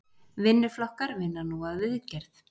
Vinnuflokkar vinna nú að viðgerð